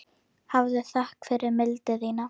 Hafðu þökk fyrir mildi þína.